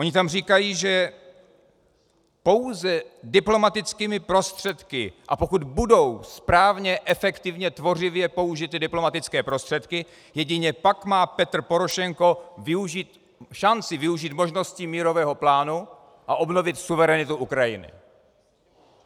Oni tam říkají, že pouze diplomatickými prostředky, a pokud budou správně, efektivně, tvořivě použity diplomatické prostředky, jedině pak má Petro Porošenko šanci využít možností mírového plánu a obnovit suverenitu Ukrajiny.